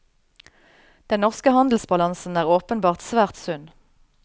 Den norske handelsbalansen er åpenbart svært sunn.